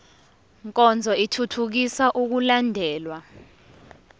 nkonzo ithuthukisa ukulandelwa